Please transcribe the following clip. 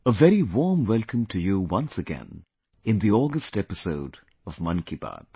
A very warm welcome to you once again in the August episode of Mann Ki Baat